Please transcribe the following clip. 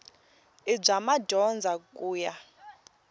i bya madyondza ku ya